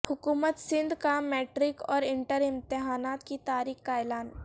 حکومت سندھ کا میٹرک اور انٹر امتحانات کی تاریخ کا اعلان